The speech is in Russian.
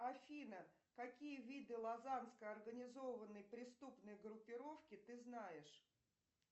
афина какие виды лазанской организованной преступной группировки ты знаешь